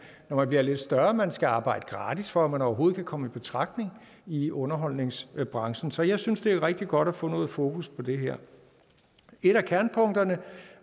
når man bliver lidt større at man skal arbejde gratis for at man overhovedet kan komme i betragtning i underholdningsbranchen så jeg synes at det er rigtig godt at få noget fokus på det her et af kernepunkterne